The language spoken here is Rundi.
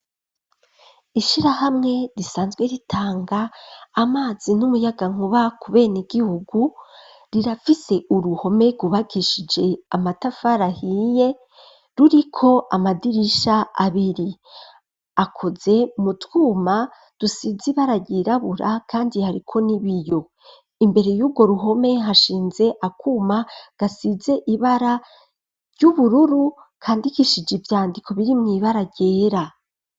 Ishirahamwe risanzwe ritanga amazi n'umuyagankuba ku ben'igihugu rirafise uruhome rwubakishije amatafara hiye ruriko amadirisha abiri akoze mu twuma, rusizi ibara ryirabura kandi hariko n'ibiyo imbere yubwo ruhome hashinze akuma gasize ibara ry'ubururu kandikishije ivyandiko biri mw'ibara ryera.